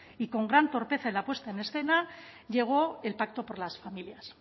y con gran torpeza en la puesta en escena llegó el pacto por las familias